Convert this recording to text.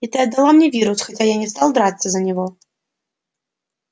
и ты отдала мне вирус хотя я не стал драться за него